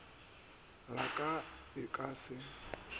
la ka e ka se